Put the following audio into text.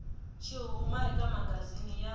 xi huma eka magazini ya